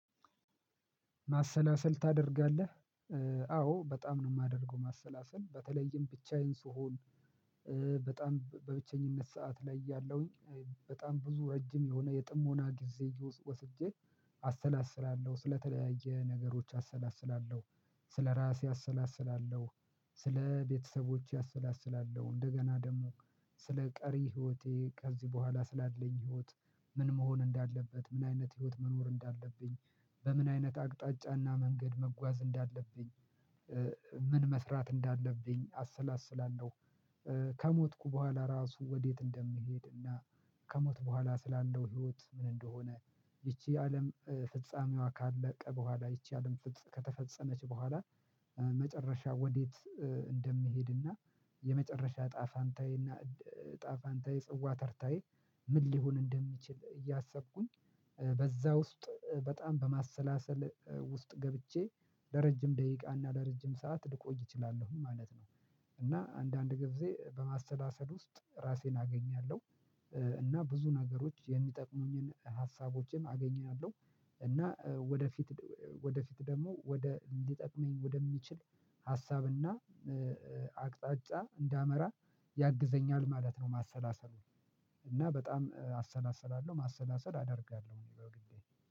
ማሰላሰል ታደርጋለህ? አዎ በጣም ነው የማደርገው ማሰላሰል በተለይም ብቻዬን ስሆን በጣም በብቸኝነት ሰዓት ላይ ያለሁኝ በጣም ብዙ ረጅም የሆነ የጥሞና ጊዜ ወስጄ አሰላስላለሁ ስለተለያየ ነገሮች አሰላስላለሁ ስለራሴ አሰላስላለሁ ስለቤተሰቦቼ አሰላስላለሁ እንደገና ደግሞ ስለቀሪ ህይወቴ ከዚህ በኋላ ስላለኝ ህይወት ምን መሆን እንዳለበት ምን አይነት ህይወት መኖር እንዳለብኝ በምን አይነት አቅጣጫና መንገድ መጓዝ እንዳለብኝ ምን መስራት እንዳለብኝ አሰላስላለሁ። ከሞትኩ በኋላ ራሱ ወዴት እንደምሄድና ከሞት በኋላ ስላለው ህይወት ምን ይቺ አለም ፍጻሜዋ ካለቀ በኋላ ይቺ አለም ከተፈጸመች በኋላ መጨረሻ ወዴት እንደሚሄድና የመጨረሻ እጣፋንታዬና እጣፋንታዬ ጽዋ ተርታዬ ምን ሊሆን እንደሚችል እያሰብኩኝ በዛ ውስጥ በጣም በማሰላሰል ውስጥ ገብቼ ለረጅም ደቂቃ እና ለረጅም ሰዓት ልቆይ እችላለሁ ማለት ነው። እና አንዳንድ ጊዜ በማሰላሰል ውስጥ ራሴን አገኛለሁ እና ብዙ ነገሮች የሚጠቅሙኝን ሀሳቦችንም አገኛለሁ እና ወደፊት ወደፊት ደግሞ ወደ ሊጠቅመኝ ወደሚችል ሀሳብና አቅጣጫ እንዳመራ ያግዘኛል ማለት ነው። ማሰላሰሉን በጣም አሰላስላለሁ ማሰላሰል አደርጋለሁ እኔ በግሌ።